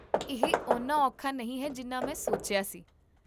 ਇਹ ਓਨਾ ਔਖਾ ਨਹੀਂ ਹੈ ਜਿੰਨਾ ਮੈਂ ਸੋਚਿਆ ਸੀ